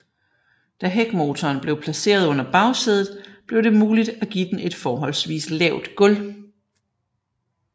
Da hækmotoren blev placeret under bagsædet blev det muligt at give den et forholdsvis lavt gulv